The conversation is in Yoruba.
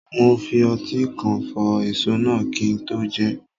Mo fi ọtí kíkan fọ èso náà kí n tó jẹ ẹ́.